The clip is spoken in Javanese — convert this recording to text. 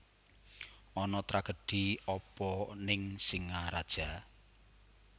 Ana tragedi apa ning Singaraja?